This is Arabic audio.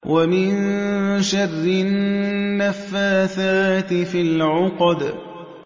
وَمِن شَرِّ النَّفَّاثَاتِ فِي الْعُقَدِ